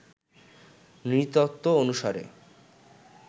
নৃতত্ব অনুসারে